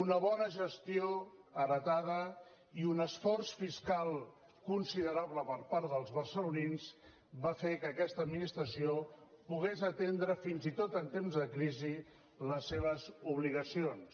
una bona gestió heretada i un esforç fiscal considerable per part dels barcelonins van fer que aquesta administració pogués atendre fins i tot en temps de crisi les seves obligacions